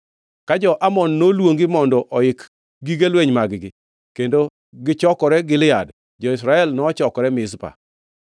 Ka jo-Amon noluongi mondo oik gige lweny mag-gi kendo gichokre Gilead, jo-Israel to nochokore Mizpa.